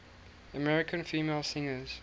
american female singers